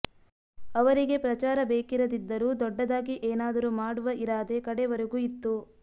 ಅವರಿಗೆ ಪ್ರಚಾರ ಬೇಕಿರದಿದ್ದರೂ ದೊಡ್ಡದಾಗಿ ಏನಾದರೂ ಮಾಡುವ ಇರಾದೆ ಕಡೆವರೆಗೂ ಇತ್ತು